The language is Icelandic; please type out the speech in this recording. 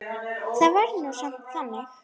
Það var nú samt þannig.